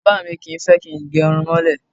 Bàbá mi kì í fẹ́ kí n gẹrun mọ́lẹ̀.